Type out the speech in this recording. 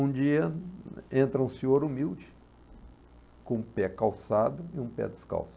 Um dia, entra um senhor humilde, com um pé calçado e um pé descalço.